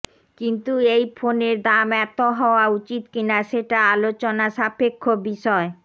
কিন্তু এই ফোনের দাম এত হওয়া উচিত কিনা সেটা আলোচনা সাপেক্ষ বিষয়